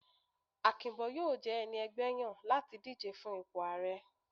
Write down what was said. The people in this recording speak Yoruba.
Akinbo yóò je ẹní ẹgbẹ yan lati dijé fún ìpo aarẹ.